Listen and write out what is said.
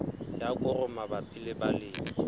ya koro mabapi le balemi